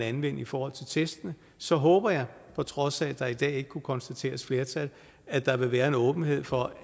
anvende i forhold til testene så håber jeg på trods af at der i dag ikke kunne konstateres et flertal at der vil være en åbenhed for